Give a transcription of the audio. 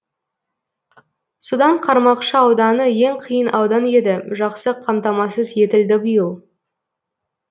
судан қармақшы ауданы ең қиын аудан еді жақсы қамтамасыз етілді биыл